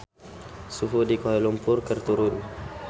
Suhu di Kuala Lumpur keur turun